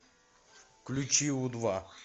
включи у два